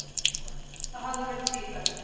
Það hafi verið tvíþætt.